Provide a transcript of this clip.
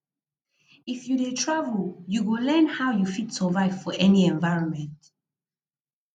if you dey travel you go learn how you fit survive for any environment